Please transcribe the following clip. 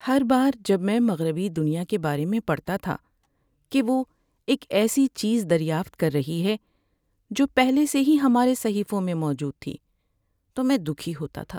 ہر بار جب میں مغربی دنیا کے بارے میں پڑھتا تھا کہ وہ ایک ایسی چیز 'دریافت' کر رہی ہے جو پہلے سے ہی ہمارے صحیفوں میں موجود تھی تو میں دکھی ہوتا تھا۔